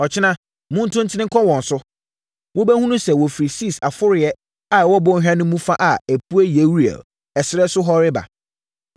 Ɔkyena, montu ntene nkɔ wɔn so. Mobɛhunu sɛ wɔfiri Sis aforoeɛ a ɛwɔ bɔnhwa no fa a ɛpue Yeruel ɛserɛ no so hɔ reba.